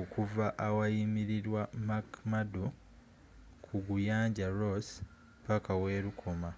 okuva awayimirirwa mcmurdo ku guyanja ross paka welukoma